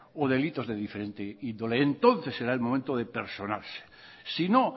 o delitos de diferentes índole entonces será el momento de personarse si no